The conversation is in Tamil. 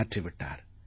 மாற்றி விட்டார்